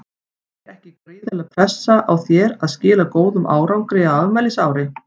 Er ekki gríðarleg pressa á þér að skila góðum árangri á afmælisári?